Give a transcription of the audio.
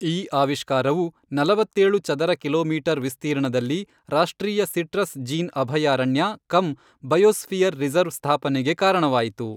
ಈ ಆವಿಷ್ಕಾರವು ನಲವತ್ತೇಳು ಚದರ ಕಿಲೋಮೀಟರ್ ವಿಸ್ತೀರ್ಣದಲ್ಲಿ ರಾಷ್ಟ್ರೀಯ ಸಿಟ್ರಸ್ ಜೀನ್ ಅಭಯಾರಣ್ಯ ಕಮ್ ಬಯೋಸ್ಫಿಯರ್ ರಿಸರ್ವ್ ಸ್ಥಾಪನೆಗೆ ಕಾರಣವಾಯಿತು.